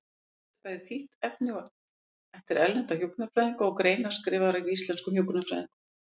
Þetta er bæði þýtt efni eftir erlenda hjúkrunarfræðinga og greinar skrifaðar af íslenskum hjúkrunarfræðingum.